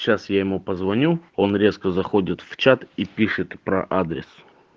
сейчас я ему позвоню он резко заходит в чат и пишет про адрес